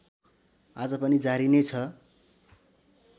आज पनि जारी नै छ